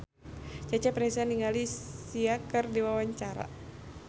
Cecep Reza olohok ningali Sia keur diwawancara